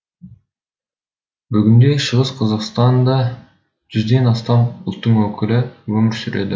бүгінде шығыс қазақстанда жүзден астам ұлттың өкілі өмір сүреді